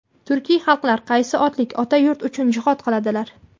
turkiy xalqlar qaysi otlik ota yurt uchun jihod qiladilar!.